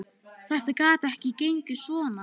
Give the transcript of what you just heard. Þetta gat ekki gengið svona.